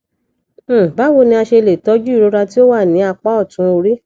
um báwo ni a ṣe le tọju irora ti o wa ni apá otun ori